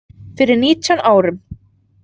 Fyrir nítján árum.